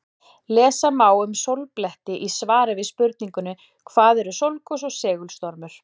Lesa má um sólbletti í svari við spurningunni Hvað eru sólgos og segulstormur?